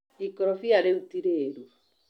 Ikorobia rĩu ti rĩru.